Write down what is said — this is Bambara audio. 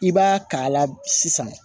I b'a k'a la sisan